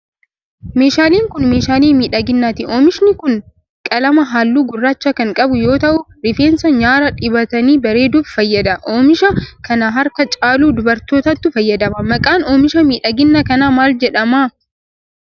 Meeshaaleen kun, meeshaalee miidhaginaati. Oomishni kun qalama haalluu gurraacha kan qabu yoo ta'u, rifeensa nyaaraa dibatanii bareeduuf fayyada. Oomisha kana harka caalu dubartootatu fayyadama. Maqaan oomisha miidhaginaa kanaa maal jedhama?